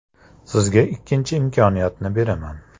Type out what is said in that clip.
Sizga ikkinchi imkoniyatni beraman.